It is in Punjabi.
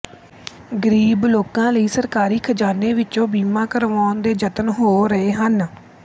ਗ਼ਰੀਬ ਲੋਕਾਂ ਲਈ ਸਰਕਾਰੀ ਖ਼ਜ਼ਾਨੇ ਵਿੱਚੋਂ ਬੀਮਾ ਕਰਵਾਉਣ ਦੇ ਯਤਨ ਹੋ ਰਹੇ ਹਨ